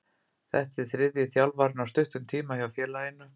Þetta er þriðji þjálfarinn á stuttum tíma hjá félaginu.